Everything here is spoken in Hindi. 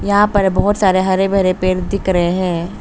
यहां पर बहुत सारे हरे भरे पेड़ दिख रहे हैं।